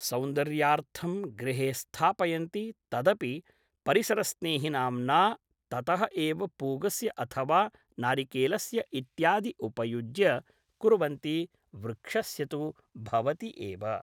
सौन्दर्यार्थं गृहे स्थापयन्ति तदपि परिसरस्नेहि नाम्ना ततः एव पूगस्य अथवा नारिकेलस्य इत्यादि उपयुज्य कुर्वन्ति वृक्षस्य तु भवति एव